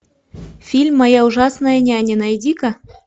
фильм моя ужасная няня найди ка